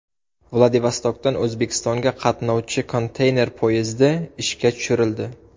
Vladivostokdan O‘zbekistonga qatnovchi konteyner poyezdi ishga tushirildi.